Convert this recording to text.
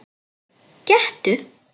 Gettu